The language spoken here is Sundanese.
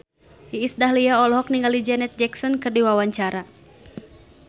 Iis Dahlia olohok ningali Janet Jackson keur diwawancara